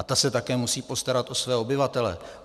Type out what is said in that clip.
A ta se také musí postarat o své obyvatele.